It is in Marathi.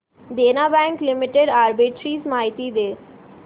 देना बँक लिमिटेड आर्बिट्रेज माहिती दे